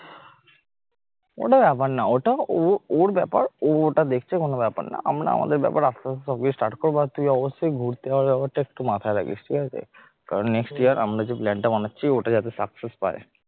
ওটা ব্যাপার না ওটাও ওর ব্যাপার ও ওটা দেখছে কোন ব্যাপার না। আমরা আমাদের ব্যাপার আস্তে আস্তে সব কিছু start, করব, তুই অবশ্যই ঘুরতে যাওয়ার ব্যাপারটা একটু মাথায় রাখিস ঠিক আছে কারণ next year আমরা যে plan টা বানাচ্ছি ওটা যাতে success পায়